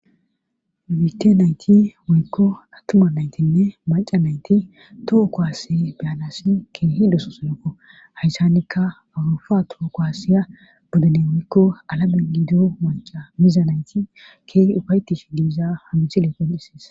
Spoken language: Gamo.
Mite nayti moykko attuma naytinne maca nayti toho koaase beyanasi keehi dosoosonoko hayssanikka awurufa too kowaasiya bodene woykko alaben gidu maca miza nayti keehi hufaytish giiza hamisile qon'ises.